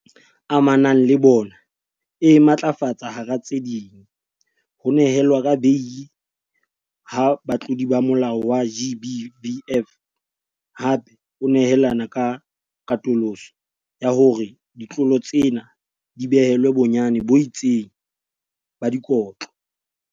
Amanang le bona e matlafatsa hara tse ding, ho nehelwa ka beili ha batlodi ba molao wa GBVF, hape o nehelana ka katoloso ya hore ditlolo tsena di behelwe bonyane bo itseng ba dikotlo.